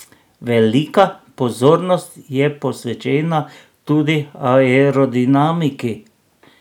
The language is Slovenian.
Velika pozornost je posvečena tudi aerodinamiki.